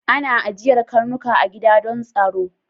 Ana ajiyar karnuka a gida don tsaro